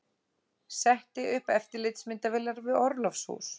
Setti upp eftirlitsmyndavélar við orlofshús